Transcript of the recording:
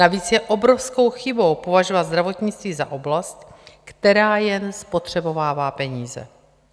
Navíc je obrovskou chybou považovat zdravotnictví za oblast, která jen spotřebovává peníze.